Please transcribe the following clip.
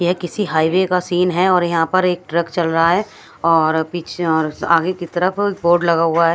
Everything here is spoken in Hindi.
ये किसी हाईवे का सीन है और यहाँ पर एक ट्रक चल रहा है और पीछे और आगे की तरफ बोर्ड लगा हुआ है।